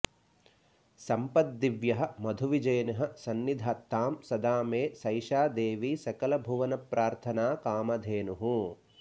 सम्पद्दिव्यः मधुविजयिनः सन्निधत्तां सदा मे सैषा देवी सकलभुवनप्रार्थनाकामधेनुः